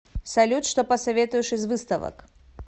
салют что посоветуешь из выставок